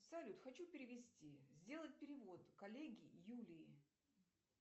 салют хочу перевести сделать перевод коллеге юлии